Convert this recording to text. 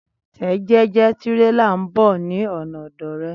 Tẹ jẹ́jẹ́ tírélà nbọ ní ọ̀nà ọ̀dọ̀ rẹ